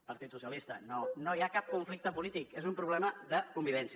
partit socialista no no hi ha cap conflicte polític és un problema de convivència